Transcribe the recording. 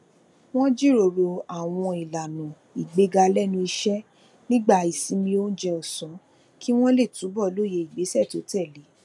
wọn jíròrò àwọn ìlànà ìgbéga lénu iṣẹ nígbà ìsinmi oúnjẹ ọsán kí wọn lè túbọ lóye ìgbésẹ tó tẹlé e